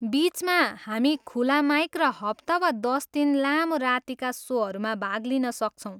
बिचमा, हामी खुला माइक र हप्ता वा दस दिन लामो रातिका सोहरूमा भाग लिन सक्छौँ।